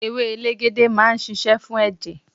Ewé elegede máa ń ṣíṣe fún ẹ̀jẹ̀.